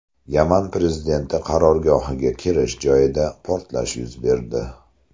Yaman prezidenti qarorgohiga kirish joyida portlash yuz berdi.